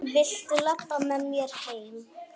Viltu labba með mér heim?